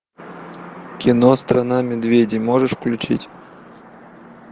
кино страна медведей можешь включить